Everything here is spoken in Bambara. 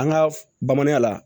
An ka bamanan la